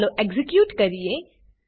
ચાલો એક્ઝીક્યુટ કરીએ